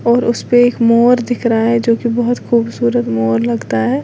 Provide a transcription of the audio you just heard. और उस पे एक मोर दिख रहा है जो कि बहुत खूबसूरत मोर लगता है।